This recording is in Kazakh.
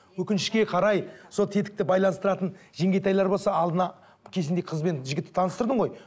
өкінішке қарай сол тетікті байланыстыратын жеңгетайлар болса алдына кезінде қыз бен жігітті таныстырдың ғой